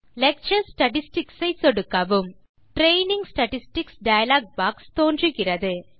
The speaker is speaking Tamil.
லெக்சர் ஸ்டாட்டிஸ்டிக்ஸ் ஐ சொடுக்கவும் ட்ரெய்னிங் ஸ்டாட்டிஸ்டிக்ஸ் டயலாக் பாக்ஸ் தோன்றுகிறது